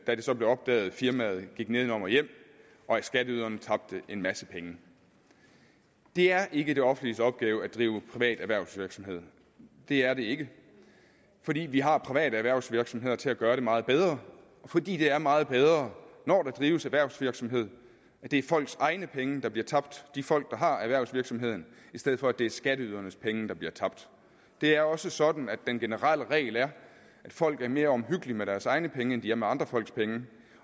da det så blev opdaget firmaet gik nedenom og hjem og skatteyderne tabte en masse penge det er ikke det offentliges opgave at drive privat erhvervsvirksomhed det er det ikke fordi vi har private erhvervsvirksomheder til at gøre det meget bedre fordi det er meget bedre når der drives erhvervsvirksomhed at det er folks egne penge der bliver tabt altså de folk der har erhvervsvirksomheden i stedet for at det er skatteydernes penge der bliver tabt det er også sådan at den generelle regel er at folk er mere omhyggelige med deres egne penge end de er med andre folks penge